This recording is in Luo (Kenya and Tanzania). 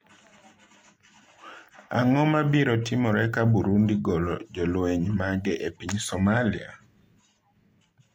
Ang'o mabiro timore ka Burundi golo jolweny mage e piny Somalia?